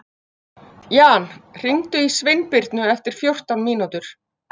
Jan, hringdu í Sveinbirnu eftir fjórtán mínútur.